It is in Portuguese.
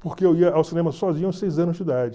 porque eu ia ao cinema sozinho aos seis anos de idade.